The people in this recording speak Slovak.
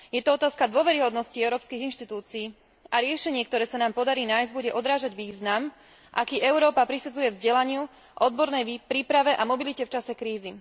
Je to otázka dôveryhodnosti európskych inštitúcií a riešenie, ktoré sa nám podarí nájsť, bude odrážať význam, aký Európa prisudzuje vzdelaniu, odbornej príprave a mobilite v čase krízy.